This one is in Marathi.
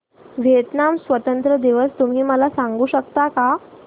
व्हिएतनाम स्वतंत्रता दिवस तुम्ही मला सांगू शकता का